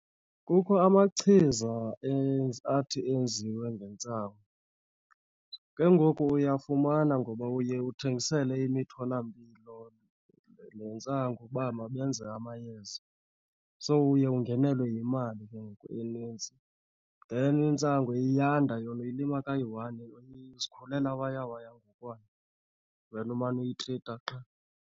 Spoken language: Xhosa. Kukho amachiza athi enziwe ngentsangu. Ke ngoku uyafumana ngoba uye uthengisele imitholampilo le ntsangu uba mabenze amayeza. So uye ungenelelwe yimali ke ngoku enintsi. Then intsangu iyanda yona, uyilima kayi-one izikhulela waya waya ngokwayo, wena umane uyitrita qha.